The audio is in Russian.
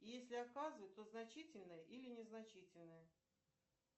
если оказывает то значительное или незначительное